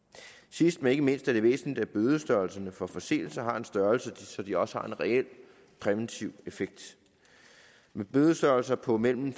sidst men ikke mindst er det væsentligt at bødestørrelserne for forseelser har en størrelse så de også har en reel præventiv effekt med bødestørrelser på mellem